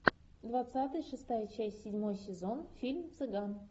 двадцатый шестая часть седьмой сезон фильм цыган